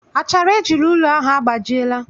Achara eji rụọ ụlọ ahụ agbajiela